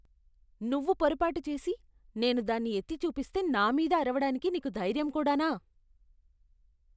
నువ్వు పొరపాటు చేసి, నేను దాన్ని ఎత్తిచూపిస్తే నా మీద అరవడానికి నీకు ధైర్యం కూడానా.